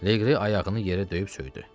Leqri ayağını yerə döyüb söydü.